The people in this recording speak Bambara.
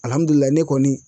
ne kɔni